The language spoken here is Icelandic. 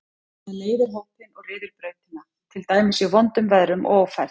Það leiðir hópinn og ryður brautina, til dæmis í vondum veðrum og ófærð.